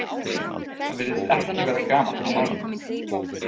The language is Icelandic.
Það virðist ekki vera gamalt í málinu.